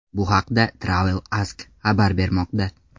Bu haqda Travel Ask xabar bermoqda .